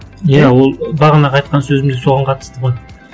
иә ол бағанағы айтқан сөзім де соған қатысты ғой